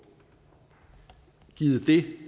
givet det